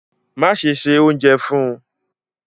Máṣẹ̀ ṣẹ ọ̀unjẹ fun!